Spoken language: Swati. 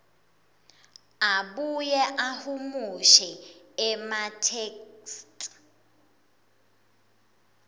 abuye ahumushe ematheksthi